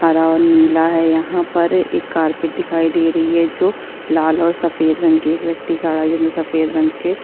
हरा और नीला है। यहाँ पर एक कारपेट दिखाई दे रही है जो लाल और सफेद रंग की एक व्यक्ति खड़ा है जिसने सफेद रंग के --